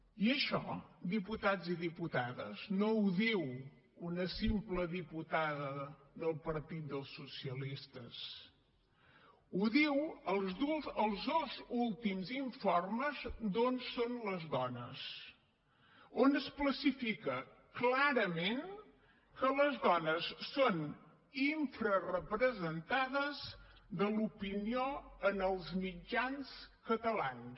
i això diputats i diputades no ho diu una simple diputada del partit dels socialistes ho diuen els dos últims informes d’on són les dones on s’especifica clarament que les dones són infrarepresentades de l’opinió en els mitjans catalans